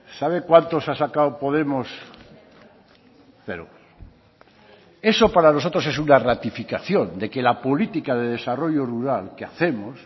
sabe cuántos ha sacado podemos cero eso para nosotros es una ratificación de que la política de desarrollo rural que hacemos